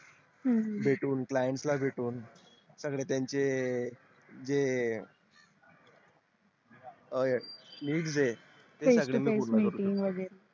हम्म भेटून client ला भेटून सगळे त्यांचे जे अं needs जे ते मी पूर्ण करतो meeting वेगेरे